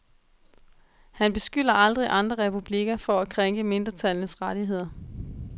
Han beskylder aldrig andre republikker for at krænke mindretallenes rettigheder.